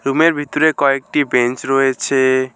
রুমের ভিতরে কয়েকটি বেঞ্চ রয়েছে।